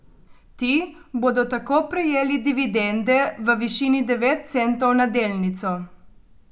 Ti bodo tako prejeli dividende v višini devet centov na delnico.